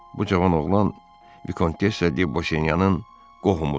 bu cavan oğlan Vikontessa de Bosiyanyanın qohumudur.